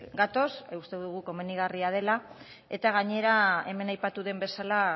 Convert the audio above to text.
gatoz uste dugu komenigarria dela eta gainera hemen aipatu den bezala